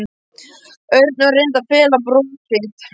Örn og reyndi að fela brosið.